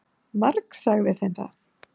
Margsagði þeim það.